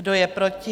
Kdo je proti?